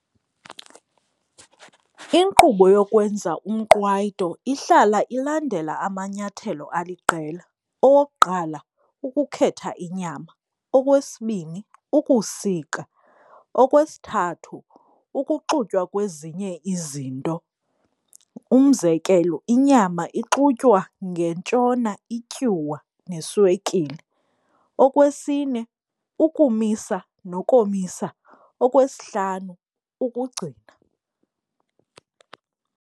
Inkqubo yokwenza umqwayito ihlala ilandela amanyathelo aliqela. Owokuqala, ukukhetha inyama, okwesibini ukusika, okwesithathu ukuxutywa kwezinye izinto. Umzekelo, inyama ixutywa ngentyona ityuwa neswekile, okwesine ukumisa nokomisa, okwesihlanu ukugcina.